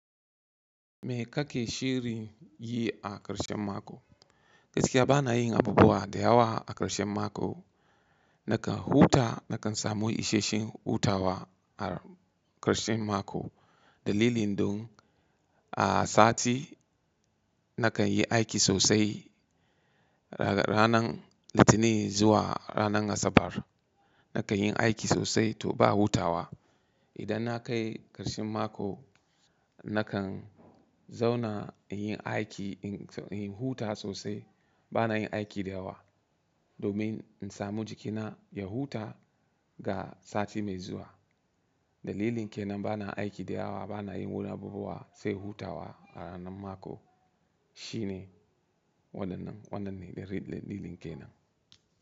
Me ka ke shirin yi a ƙarshen mako? Gaskiya ba na yin abubuwa da yawa a ƙarshen mako. Nakan huta, nakan samu isheshen hutawa a ƙarshen mako. Dalilin dun a sati nakan yi aiki sosai. Ranan Litinin zuwa ranan Asabar nakan yin aiki sosai to ba hutawa. Idan na kai ƙarshen mako, nakan zauna in yi aiki, in huta sosai. Ba na yin aiki da yawa, domin in samu jikina ya huta ga sati mai zuwa. Dalilin ke nan ba na aiki da yawa, ba na yin wani abubuwa sai hutawa a ranan mako. Shine wannan nan, wannan ne dalilin ke nan.